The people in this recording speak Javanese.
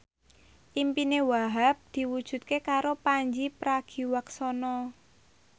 impine Wahhab diwujudke karo Pandji Pragiwaksono